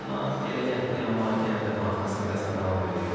Amma belə gətirdi, amma yenə də konfrans liqasına davam eləyir.